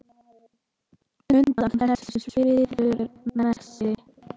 Undan þessu svíður Messi.